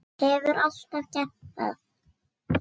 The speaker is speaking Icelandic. Hefur alltaf gert það.